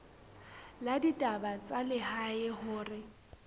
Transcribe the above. la ditaba tsa lehae hore